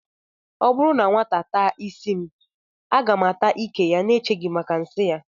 Ọ bụrụ na nwata ata ísí m, a ga m ata ìkè ya n'echeghị maka ịsị ya